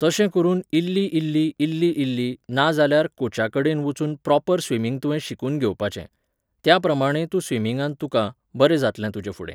तशें करून इल्ली इल्ली इल्ली इल्ली, नाजाल्यार कोचाकडेन वचून प्रॉपर स्विमिंग तुवें शिकून घेवपाचें. त्याप्रमाणें तूं स्विमिंगांत तुका, बरें जातलें तुजें फुडें.